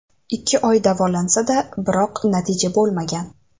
Ikki oy davolansa-da, biroq natija bo‘lmagan.